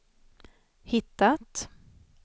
hittat